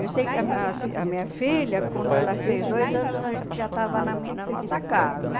Eu sei que ah ah a minha filha, quando ela fez dois anos, a gente já estava na mi na nossa casa.